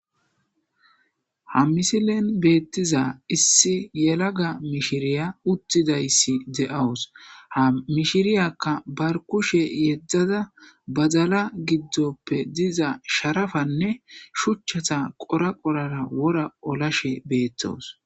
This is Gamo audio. ha misilen beettiza issi yelaga mishiriya uttidayssi de'awus ha mishiriyakka barkushe yeddada bazala giddoppe diza sharafanne shuchchata qora qorara wora olashe beettoos